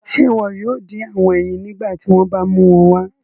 Ṣe iwọ yoo din awọn eyin nigbati wọn ba mu wọn wá?